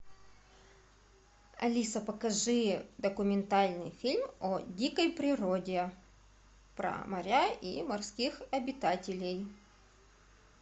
алиса покажи документальный фильм о дикой природе про моря и морских обитателей